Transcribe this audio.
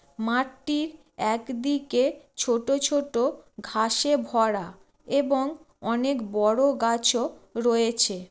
মাঠটির একদিকে ছোট ছোট ঘাসে ভরা এবং অনেক বড়ো গাছও রয়েছে।